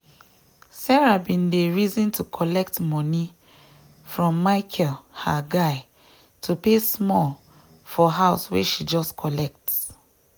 maria um bin don start to use ajo for phone um save money wey she um no carry do things every month.